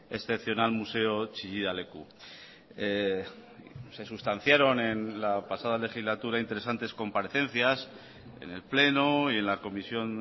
excepcional museo chillida leku se sustanciaron en la pasada legislatura interesantes comparecencias en el pleno y en la comisión